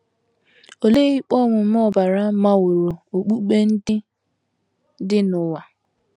Olee ikpe ọmụma ọbara maworo okpukpe ndị dị n’ụwa?